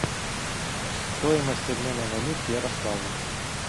стоимость обмена валют в ярославле